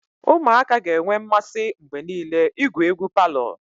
Ụmụaka ga-enwe mmasị mgbe niile igwu egwu palọ.